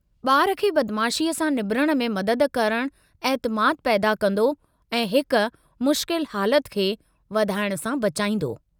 ॿार खे बदमाशीअ सां निबिरण में मदद करणु ऐतिमादु पैदा कंदो ऐं हिक मुश्किल हालत खे वधाइणु सां बचाईंदो।